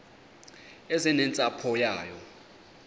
eze nentsapho yayo